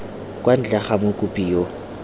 kwa ntle ga mokopi yo